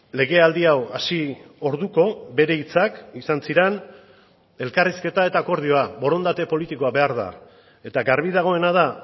legealdi hau hasi orduko bere hitzak izan ziren elkarrizketa eta akordioa borondate politikoa behar da eta garbi dagoena da